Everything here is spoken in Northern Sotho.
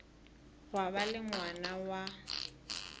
gwa ba le ngwana wa